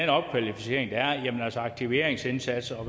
opkvalificering og aktiveringsindsats og